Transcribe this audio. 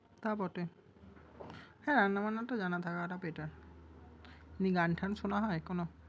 তা বটে! শিখে রাখাটা better । গান টান শোনা হয় এখনো?